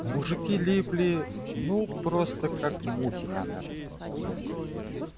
мужики липли ну просто как мухи на мёд